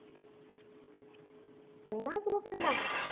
पन्नास रुपयाला